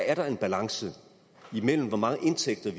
er der en balance mellem hvor mange indtægter